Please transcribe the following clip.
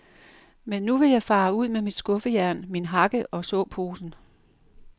Men nu vil jeg fare ud med mit skuffejern, min hakke og såposen.